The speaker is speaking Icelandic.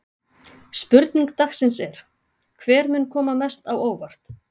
Spurning dagsins er: Hver mun koma mest á óvart?